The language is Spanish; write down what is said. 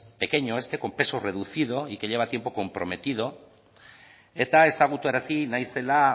pequeño este con peso reducido y que lleva tiempo comprometido eta ezagutarazi nahi zela